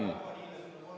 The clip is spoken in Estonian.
Ikka on.